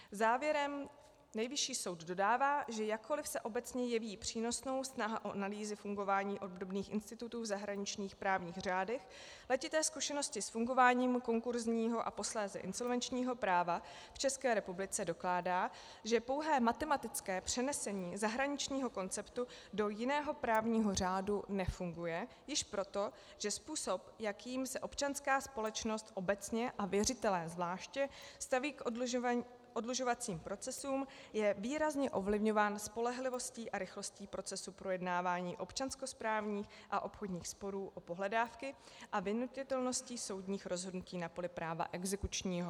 Závěrem Nejvyšší soud dodává, že jakkoliv se obecně jeví přínosnou snaha o analýzy fungování obdobných institutů v zahraničních právních řádech, letité zkušenosti s fungováním konkurzního a posléze insolvenčního práva v České republice dokládá, že pouhé matematické přenesení zahraničního konceptu do jiného právního řádu nefunguje již proto, že způsob, jakým se občanská společnost obecně, a věřitelé zvláště, staví k oddlužovacím procesům, je výrazně ovlivňován spolehlivostí a rychlostí procesů projednávání občanskosprávních a obchodních sporů o pohledávky a vynutitelností soudních rozhodnutí na poli práva exekučního.